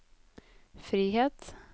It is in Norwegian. frihet